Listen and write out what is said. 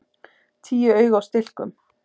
Tíu augu á stilkum!